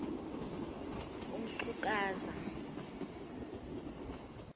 umxhukuza